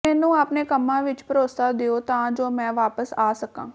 ਮੈਨੂੰ ਆਪਣੇ ਕੰਮਾਂ ਵਿੱਚ ਭਰੋਸਾ ਦਿਓ ਤਾਂ ਜੋ ਮੈਂ ਵਾਪਸ ਆ ਸਕਾਂ